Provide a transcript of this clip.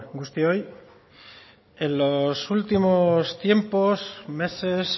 guztioi en los últimos tiempos meses